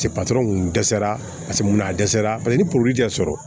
patɔrɔn kun dɛsɛra paseke mun na a dɛsɛra paseke ni tɛ sɔrɔ